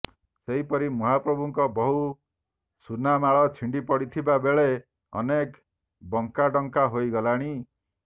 ସେହିପରି ମହାପ୍ରଭୁଙ୍କ ବହୁ ସୁନାମାଳ ଛିଣ୍ଡି ପଡ଼ିଥିବା ବେଳେ ଅନେକ ବଙ୍କାଢ଼ଙ୍କା ହୋଇଗଲାଣି